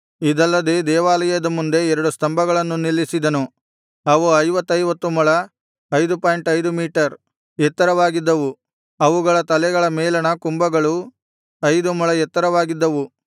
ಇದಲ್ಲದೆ ದೇವಾಲಯದ ಮುಂದೆ ಎರಡು ಸ್ತಂಭಗಳನ್ನು ನಿಲ್ಲಿಸಿದನು ಅವು ಮೂವತ್ತೈದು ಮೊಳ 55 ಮೀಟರ್ ಎತ್ತರವಾಗಿದ್ದವು ಅವುಗಳ ತಲೆಗಳ ಮೇಲಣ ಕುಂಭಗಳು ಐದು ಮೊಳ ಎತ್ತರವಾಗಿದ್ದವು